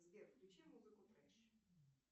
сбер включи музыку трэш